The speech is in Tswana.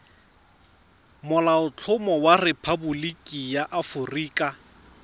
molaotlhomo wa rephaboliki ya aforika